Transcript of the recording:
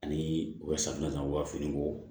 Ani u ka safinɛ u ka finiko